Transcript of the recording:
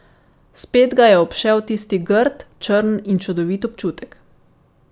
Spet ga je obšel tisti grd, črn in čudovit občutek.